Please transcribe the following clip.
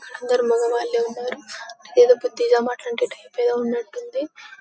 అందరూ మగవాళ్లే ఉన్నారు ఏదో బుద్ధిగా మాట్లాడేట టైప్ లాగ ఉన్నట్టుంది.